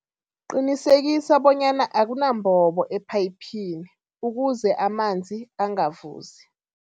Qinisekisa bonyana akanambobo ephayiphini ukuze amanzi angavuzi.